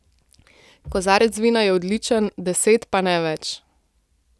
Kozarec vina je odličen, deset pa ne več.